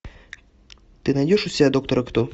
ты найдешь у себя доктора кто